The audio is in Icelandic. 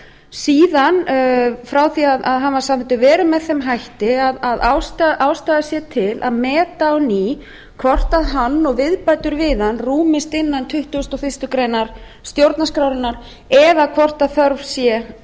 síðan frá því að hann var samþykktur verið með þeim hætti að ástæða sé til að meta á ný hvort hann og viðbætur við hann rúmist innan tuttugasta og fyrstu grein stjórnarskrárinnar eða hvort þörf sé